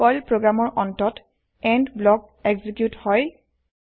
Perl প্ৰগ্ৰেমৰ অন্তত end block execute হয়